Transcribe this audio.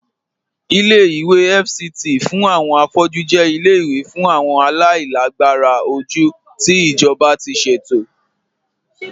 Ìlẹ̀-ìwé FCT fún awọn afọ̀jú jẹ̀ ìlẹ̀-ìwé fún awọn aláìlàgbàrà ojú tí ijọba ti ṣetò.